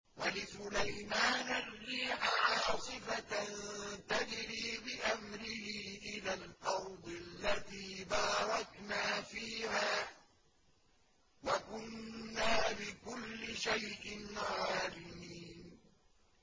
وَلِسُلَيْمَانَ الرِّيحَ عَاصِفَةً تَجْرِي بِأَمْرِهِ إِلَى الْأَرْضِ الَّتِي بَارَكْنَا فِيهَا ۚ وَكُنَّا بِكُلِّ شَيْءٍ عَالِمِينَ